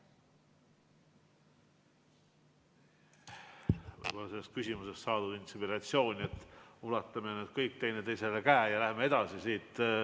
Ma sain sellest küsimusest inspiratsiooni, et ulatame nüüd kõik üksteisele käe ja läheme edasi.